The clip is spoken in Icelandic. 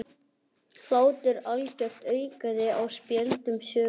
Hlátur algjört aukaatriði á spjöldum sögunnar.